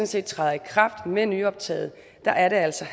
set træder i kraft med nyoptaget er er der altså